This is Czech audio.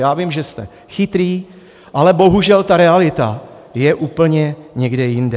Já vím, že jste chytrý, ale bohužel ta realita je úplně někde jinde.